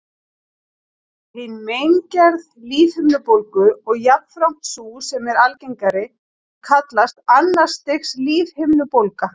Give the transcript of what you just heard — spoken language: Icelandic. Hin megingerð lífhimnubólgu, og jafnframt sú sem er algengari, kallast annars stigs lífhimnubólga.